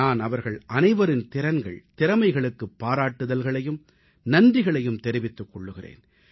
நான் அவர்கள் அனைவரின் திறன்கள் திறமைகளுக்குப் பாராட்டுதல்களையும் நன்றிகளையும் தெரிவித்துக் கொள்கிறேன்